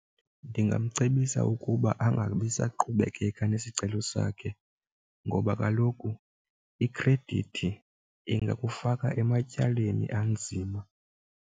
Ndingamcebisa ukuba angabi saqhubekeka nesicelo sakhe ngoba kaloku ikhredithi ingakufaka ematyaleni anzima.